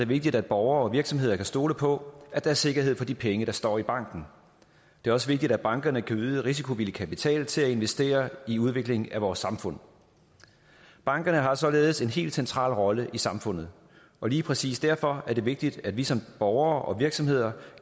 vigtigt at borgere og virksomheder kan stole på at der er sikkerhed for de penge der står i banken det er også vigtigt at bankerne kan yde risikovillig kapital til at investere i udviklingen af vores samfund bankerne har således en helt central rolle i samfundet og lige præcis derfor er det vigtigt at vi som borgere og virksomheder